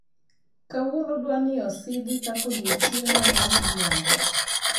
Kawuono dwani osidhi kaka odiechienga mar miriambo